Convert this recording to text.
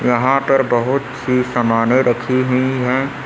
यहां पर बहोत सी समाने रखी हुई है।